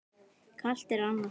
Kalt er annars blóð.